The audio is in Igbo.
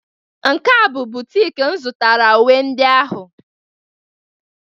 nke a bụ boutique m zụtara uwe ndị ahụ